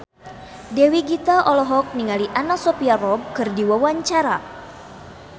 Dewi Gita olohok ningali Anna Sophia Robb keur diwawancara